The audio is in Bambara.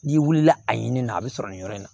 N'i wulila a ɲini na a bɛ sɔrɔ nin yɔrɔ in na